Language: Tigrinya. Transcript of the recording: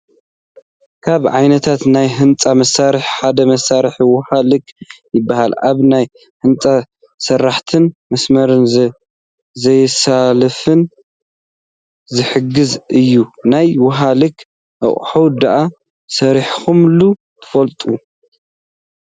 ካብ ዓይነታት ናይ ህንፃ መሳርሕታት ሓደ መስመሪ ውሃ ልክ ይባሃል፡፡ ኣብ ናይ ህንፃ ስራሕትና መስመር ዘይዛለፈና ዝሕግዝ እዩ፡፡ ናይ ውሃ ልክ ኣቕሓ ዶ ሰሪሕኹሙላ ትፈልጡ?